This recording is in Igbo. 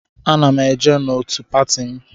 Ana m eje n'otù pati m.